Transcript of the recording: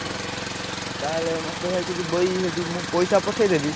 ହୁଁ ଆଉ ତାହେଲେ ମତେ ଭାଇ କିଛି ବହି ସେଠି ମୁଁ ପଇସା ପଠେଇଦେବି।